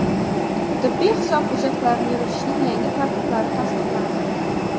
tibbiy hisob hujjatlarini yuritishning yangi tartiblari tasdiqlandi.